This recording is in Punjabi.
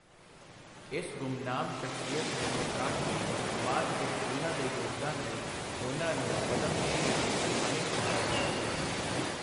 ਇਸ ਗੁੰਮਨਾਮ ਸ਼ਖਸੀਅਤ ਨੂੰ ਪਛਾਣ ਕੇ ਸਮਾਜ ਵਿੱਚ ਉਨ੍ਹਾਂ ਦੇ ਯੋਗਦਾਨ ਲਈ ਉਨ੍ਹਾਂ ਨੂੰ ਪਦਮਸ਼੍ਰੀ ਨਾਲ ਸਨਮਾਨਿਤ ਕੀਤਾ ਗਿਆ।